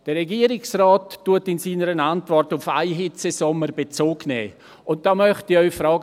Der Regierungsrat nimmt in seiner Antwort auf einen Hitzesommer Bezug, und da möchte ich Sie fragen: